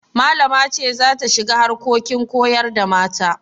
Malama ce za ta shiga harkokin koyar da mata.